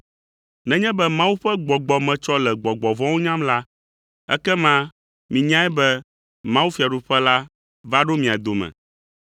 Nenye be Mawu ƒe Gbɔgbɔe metsɔ le gbɔgbɔ vɔ̃wo nyam la, ekema minyae be mawufiaɖuƒe la va ɖo mia dome.